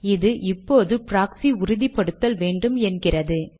இது இப்போது ப்ராக்ஸி உறுதிபடுத்தல் வேண்டும் என்கிறது